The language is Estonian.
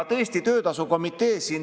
Tõesti, töötasukomitee.